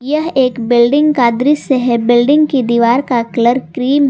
यह एक बिल्डिंग का दृश्य है बिल्डिंग की दीवार का कलर क्रीम --